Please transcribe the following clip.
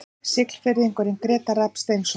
Siglfirðingurinn Grétar Rafn Steinsson